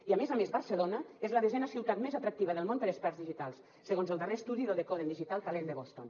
i a més a més barcelona és la desena ciutat més atractiva del món per a experts digitals segons el darrer estudi del decoding digital talent de boston